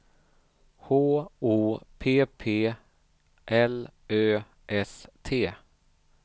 H O P P L Ö S T